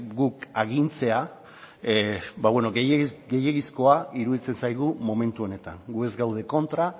guk agintzea gehiegizkoa iruditzen zaigu momentu honetan gu ez gaude kontra